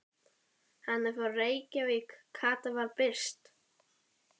Hann er frá Reykjavík, Kata var byrst.